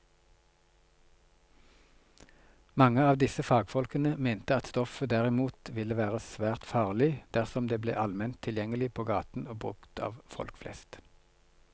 Mange av disse fagfolkene mente at stoffet derimot ville være svært farlig dersom det ble allment tilgjengelig på gaten og brukt av folk flest.